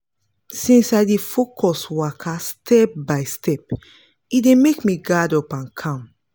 since i dey focus waka step by step e dey make me guard up and calm